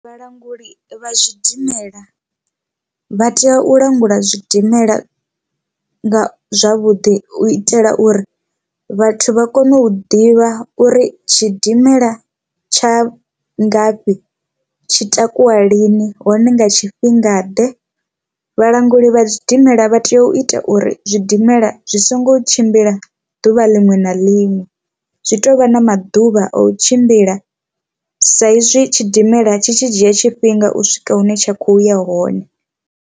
Vhalanguli vha zwidimela vha tea u langula zwidimela nga zwavhuḓi u itela uri vhathu vha kone u ḓivha uri tshidimela tsha ngafhi tshi takuwa lini hone nga tshifhinga ḓe. Vhalanguli vha zwidimela vha tea u ita uri zwidimela zwi songo tshimbila ḓuvha liṅwe na liṅwe zwi tovha na maḓuvha a u tshimbila sa izwi tshidimela tshi tshi dzhia tshifhinga u swika hune tsha kho ya hone.